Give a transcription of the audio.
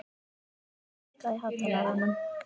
Maj, lækkaðu í hátalaranum.